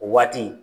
O waati